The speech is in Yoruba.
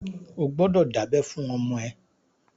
O gbọ́dọ̀ dábẹ́ fún ọmọ ẹ!